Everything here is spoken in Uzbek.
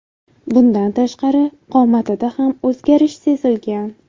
Bundan tashqari, qomatida ham o‘zgarish sezilgan.